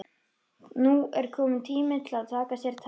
Nú er kominn tími til að taka sér tak.